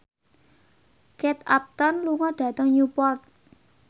Kate Upton lunga dhateng Newport